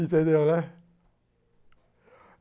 Entendeu, né?